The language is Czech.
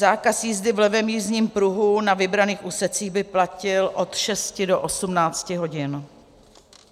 Zákaz jízdy v levém jízdním pruhu na vybraných úsecích by platil od 6 do 18 hodin.